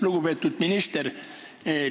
Lugupeetud minister!